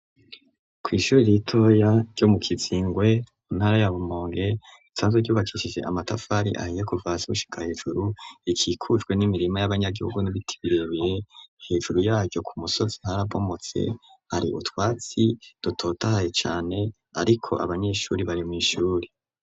Kw' ishuri ritoya ryo mu kizingwe mu ntara ya rumonge risanzwe ryubakishije amatafari ahiye kuva hasi gushika hejuru ikikujwe n'imirima y'abanyagihugu n'ibiti birebeye hejuru yaryo ku musozi harabomotse hari utwatsi dutotahaye cane ariko abanyeshuri bari mw' ishuri.